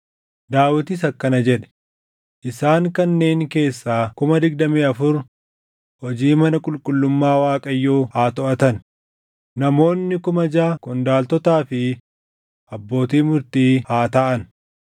Daawitis akkana jedhe; “Isaan kanneen keessaa kuma digdamii afur hojii mana qulqullummaa Waaqayyoo haa toʼatan; namoonni kuma jaʼa qondaaltotaa fi abbootii murtii haa taʼan.